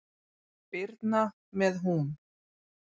Birna með hún.